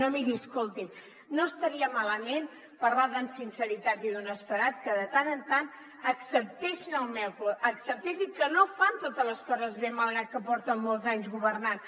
no miri escolti’m no estaria malament parlant de sinceritat i d’honestedat que de tant en tant acceptessin que no fan totes les coses bé malgrat que porten molts anys governant